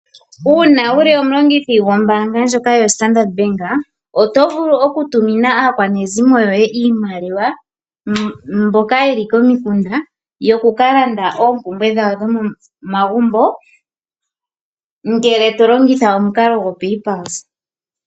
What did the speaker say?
Uuna wuli omulongithi gwombanga ndyoka yoStandard bank oto vulu oku tumina aakwanezimo iimaliwa mbokayeli komikunda yoku ka landa oompumbwe dhawo dho mo magumbo ngele to longitha omukalo gwo paypulse.